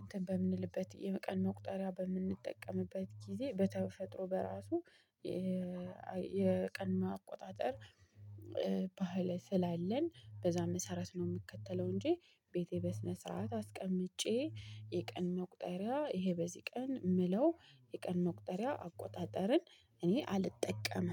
እንትን በምንልበት የቀን መቁጠሪያ በምንጠቀምበት ጊዜ በተፈጥሮ በራሱ። የቀን ማቆጣጠር ባህል ስላለን በዛ መሰረት ነው ምከተለው እንጂ። ቤቴ በስነ ስርዓት አስቀምጬ የቀን መቁጠሪያ ይሄ በዚህ ቀን ምለው የቀን መቁጠሪያ አቆጣጠርን እኔ አልጠቀምም።